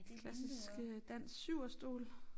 Klassiske dansk 7'erstol